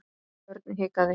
Örn hikaði.